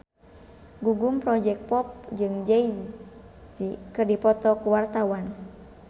Gugum Project Pop jeung Jay Z keur dipoto ku wartawan